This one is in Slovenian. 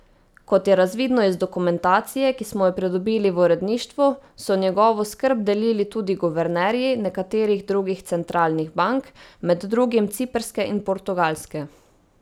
Kot je razvidno iz dokumentacije, ki smo jo pridobili v uredništvu, so njegovo skrb delili tudi guvernerji nekaterih drugih centralnih bank, med drugim ciprske in portugalske.